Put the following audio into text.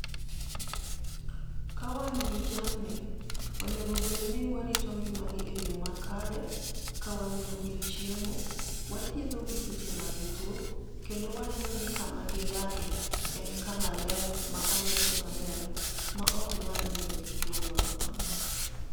kawan gi jamni, onego bed ni warito ngima gi e yo makare, ka wamiyogi chiemo, wathiedho gi seche magituo, kendo waneno ni kama gidake, en kama maler ma olosi maber, ma oknyal miyo gi tuo moro amora.